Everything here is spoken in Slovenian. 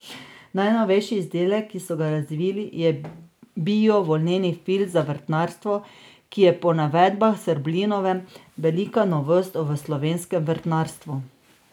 Najnovejši izdelek, ki so ga razvili, je bio volneni filc za vrtnarstvo, ki je po navedbah Srblinove velika novost v slovenskem vrtnarstvu.